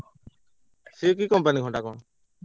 ସେ କି company ଘଣ୍ଟା କଣ?